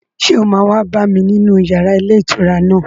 Ṣé o máa wá bá mi nínú yàrá ilé ìtura náà